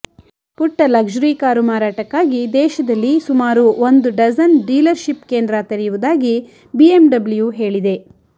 ಪುಟ್ಟ luxury car ಮಾರಾಟಕ್ಕಾಗಿ ದೇಶದಲ್ಲಿ ಸುಮಾರು ಒಂದು ಡಜನ್ ಡೀಲರ್ಷಿಪ್ ಕೇಂದ್ರ ತೆರೆಯುವುದಾಗಿ ಬಿಎಂಡಬ್ಲ್ಯು ಹೇಳಿದೆ